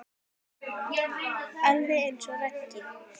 Alveg eins og Raggi.